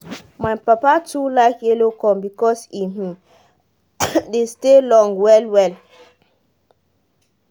my papa too like yellow corn because e um dey stay long well well